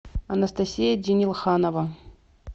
анастасия денилханова